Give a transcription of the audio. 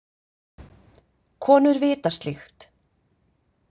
Konur vita slíkt.